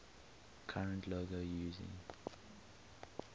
current logo using